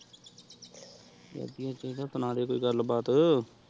ਵਾਦਿਯ ਚਿੜਾ ਸੁਨਾ ਦੇ ਓਈ ਗੱਲ ਬਾਤ